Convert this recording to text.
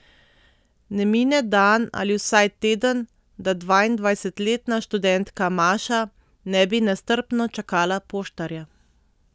Ne mine dan ali vsaj teden, da dvaindvajsetletna študentka Maša ne bi nestrpno čakala poštarja.